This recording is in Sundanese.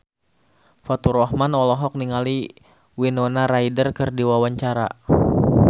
Faturrahman olohok ningali Winona Ryder keur diwawancara